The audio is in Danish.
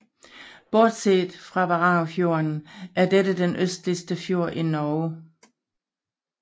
Bortset fra Varangerfjorden er dette den østligste fjord i Norge